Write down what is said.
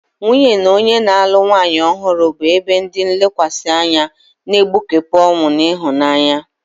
Nwunye na onye na-alụ nwanyị ọhụrụ bụ ebe ndi nlekwasi anya, na-egbukepụ ọṅụ na ịhụnanya.